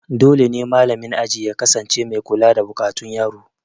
Dole ne malamin ajin ya kasance mai kula da buƙatun yaro